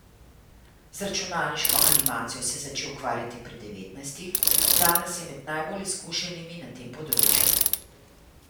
Z računalniško animacijo se je začel ukvarjati pri devetnajstih, danes je med najbolj izkušenimi na tem področju.